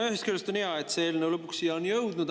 No ühest küljest on hea, et see eelnõu lõpuks siia on jõudnud.